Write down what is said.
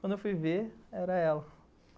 Quando eu fui ver, era ela.